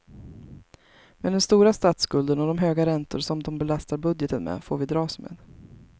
Men den stora statsskulden och de höga räntor som de belastar budgeten med, får vi dras med.